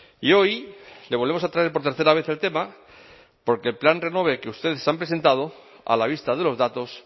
y hoy le volvemos a traer por tercera vez el tema porque el plan renove que ustedes han presentado a la vista de los datos